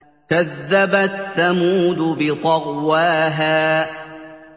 كَذَّبَتْ ثَمُودُ بِطَغْوَاهَا